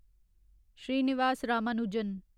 Srinivas Ramanujan